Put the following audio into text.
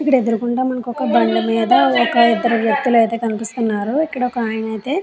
ఇక్కడ ఎదురుగా మనకి ఒక బండి మీద ఇద్దరు వ్యక్తులైతే కనిపిస్తున్నారు. ఇక్కడ ఒక ఆయన అయితే --